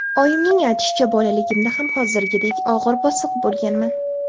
Oyimning aytishicha, bolaligimda ham hozirgidek og‘ir-bosiq bo‘lganman.